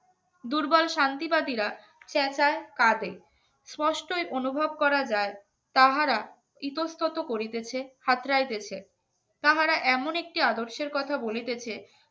দুর্বল শান্তিবাদীরা চেঁচায় কাঁদে অনুভব করা যায় তাহারা ইতস্তত করিতেছে তাহারা এমন একটি আদর্শের কথা বলিতেছে